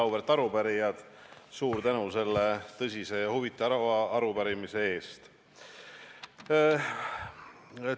Auväärt arupärijad, suur tänu selle tõsise ja huvitava arupärimise eest!